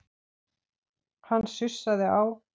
Hann sussaði á